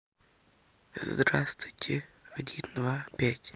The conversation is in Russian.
здравствуйте один два пять